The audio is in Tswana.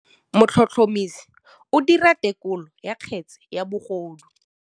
Motlhotlhomisi o dira têkolô ya kgetse ya bogodu.